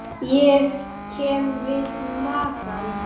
Ég kem við magann.